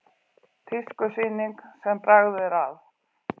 Tískusýning sem bragð er að